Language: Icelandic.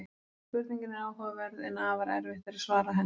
Spurningin er áhugaverð en afar erfitt er að svara henni.